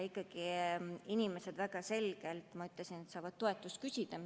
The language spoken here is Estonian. Ikkagi inimesed – ma väga selgelt ütlesin seda – saavad toetust küsida.